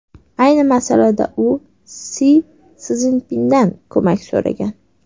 Ayni masalada u Si Szinpindan ko‘mak so‘ragan.